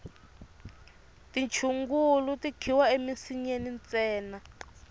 tichungulu ti khiwa emisinyeni ntsena